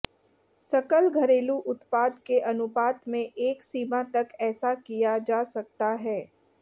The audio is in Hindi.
सकल घरेलू उत्पाद के अनुपात में एक सीमा तक ऐसा किया जा सकता है